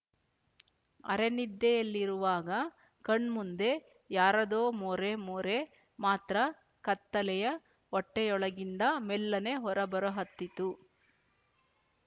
ಅರೆನಿದ್ದೆಯಲ್ಲಿರುವಾಗ ಕಣ್ಮುಂದೆ ಯಾರದೋ ಮೋರೆಮೋರೆ ಮಾತ್ರ ಕತ್ತಲೆಯ ಹೊಟ್ಟೆಯೊಳಗಿಂದ ಮೆಲ್ಲನೆ ಹೊರಬರಹತ್ತಿತು